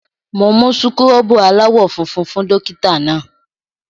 Mo mú súkúrọ́bù aláwọ̀ funfun fún dọ́kítá náà.